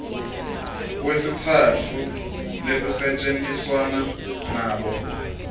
besitsatfu lekusetjentiswana nabo